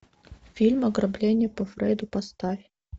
фильм ограбление по фрейду поставь